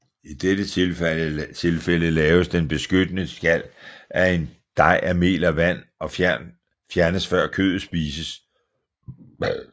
I dette tilfælde laves den beskyttende skal af en dej af mel og vand og fjernes før kødet spises